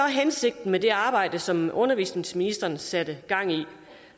hensigten med det arbejde som undervisningsministeren satte gang i